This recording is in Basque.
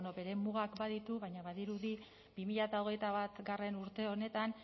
ba bueno bere mugak baditu baina badirudi bi mila hogeita batgarrena urte honetan